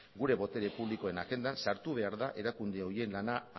gure botere publikoen agendan sartu behar da erakunde horien lana